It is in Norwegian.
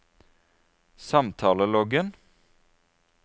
samtaleloggen